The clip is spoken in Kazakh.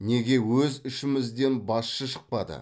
неге өз ішімізден басшы шықпады